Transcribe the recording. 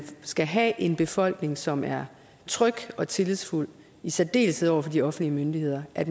skal have en befolkning som er tryg og tillidsfuld i særdeleshed over for de offentlige myndigheder at